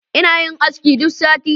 Ina yin aski duk sati